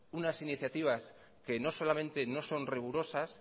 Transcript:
unas iniciativas que no solamente no son rigurosas